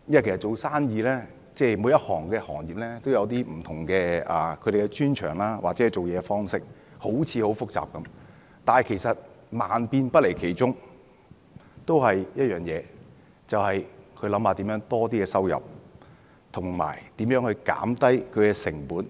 其實每個行業都有他們的專長或做事方式，好像很複雜，但萬變不離其宗，那就是如何增加收入和減低成本，